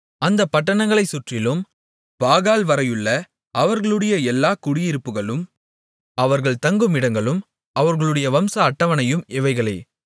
அந்தப் பட்டணங்களைச் சுற்றிலும் பாகால்வரையுள்ள அவர்களுடைய எல்லா குடியிருப்புக்களும் அவர்கள் தங்குமிடங்களும் அவர்களுடைய வம்ச அட்டவணையும் இவைகளே